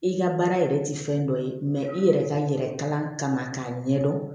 I ka baara yɛrɛ ti fɛn dɔ ye i yɛrɛ ka yɛrɛ kalan kama k'a ɲɛ dɔn